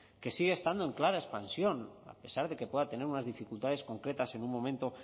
que sigue estando en clara expansión a pesar de que pueda tener unas dificultades concretas en un momento